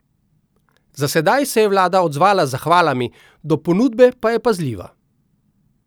Za sedaj se je vlada odzvala z zahvalami, do ponudbe pa je pazljiva.